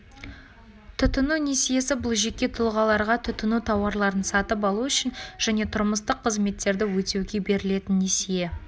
тұтыну несиесі бұл жеке тұлғаларға тұтыну тауарларын сатып алу үшін және тұрмыстық қызметтерді өтеуге берілетін несие